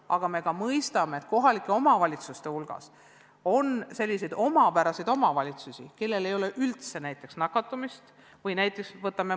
Aga me mõistsime, et kohalike omavalitsuste hulgas on ka selliseid omapäraseid omavalitsusi, kus nakatumist ei ole üldse.